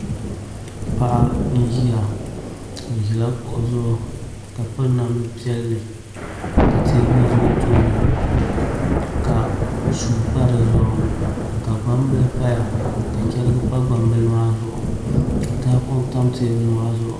Paɣa n ʒiya o ʒila kuɣu zuɣu ka piri namdi piɛlli ka teebuli ʒɛ o tooni ka suu pa dizuɣu ka gbambili paya ka chɛrigi pa gbambili maa zuɣu ka tahapoŋ tam teebuli maa zuɣu